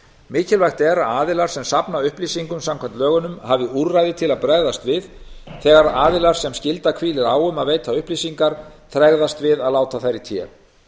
mikilvægt er að aðilar sem safna upplýsingum samkvæmt lögunum hafi úrræði til að bregðast við þegar aðilar sem skylda hvílir á um að veita upplýsingar tregðast við að láta þær í té